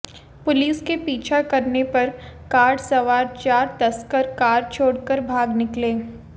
police के पीछा करने पर कार सवार चार तस्कर कार छोड़कर भाग निकले